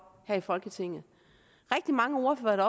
her i folketinget rigtig mange ordførere